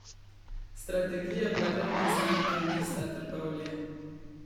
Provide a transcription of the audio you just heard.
Strategija blagovne znamke mesta Trbovlje.